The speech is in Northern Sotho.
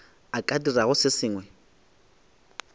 a ka dirago se sengwe